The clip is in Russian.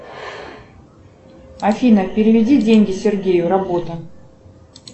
афина переведи деньги сергею работа